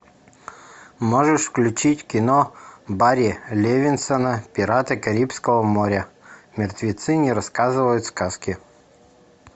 можешь включить кино барри левинсона пираты карибского моря мертвецы не рассказывают сказки